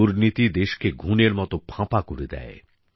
দুর্নীতি দেশকে ঘুণের মত ফাঁপা করে দেয়